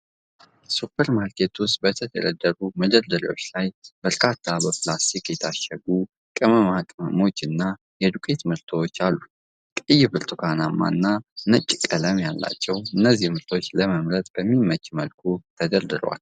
ሱፐርማርኬት ውስጥ በተደረደሩ መደርደሪያዎች ላይ በርካታ በፕላስቲክ የታሸጉ ቅመማ ቅመሞችና የዱቄት ምርቶች አሉ። ቀይ፣ ብርቱካናማ እና ነጭ ቃለም ያላቸው እነዚህ ምርቶች ለመምረጥ በሚመች መልኩ ተደርድረዋል።